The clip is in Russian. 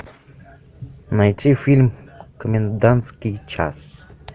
найти фильм комендантский час